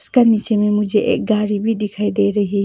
का नीचे में मुझे एक गाड़ी भी दिखाई दे रही है।